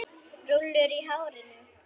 Rúllur í hárinu.